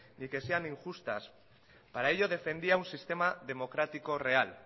ni que sean injustas para ello defendía un sistema democrático real